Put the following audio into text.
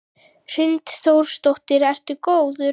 Hrund Þórsdóttir: Ertu góður?